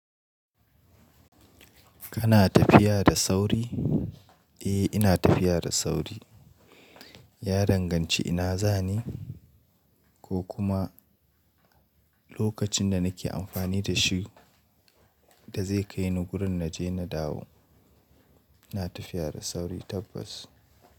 Kana tafiya da sauri? Eh, ina tafiya da sauri. Ya danganci ina zani ko kuma lokacin da nake amfani da shi da zai kai ni wurin na je na dawo. Ina tafiya da sauri tabbas.